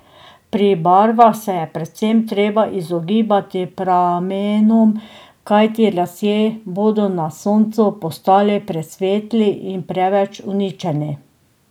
Pri barvah se je predvsem treba izogibati pramenom, kajti lasje bodo na soncu postali presvetli in preveč uničeni.